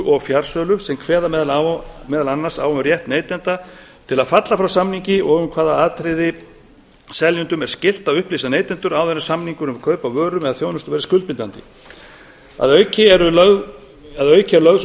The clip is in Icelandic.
og fjarsölu sem kveða meðal annars á um rétt neytenda til að falla frá samningi og um hvaða atriði seljendum er skylt að upplýsa neytendur áður en samningur um kaup á vörum eða þjónustu væri skuldbindandi að auki er lögð sú